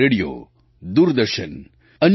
radio Doordarshan અન્ય T